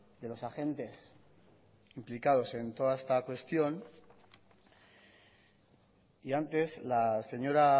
de los agentes implicados en toda esta cuestión y antes la señora